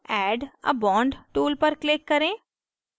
add a bond tool पर click करें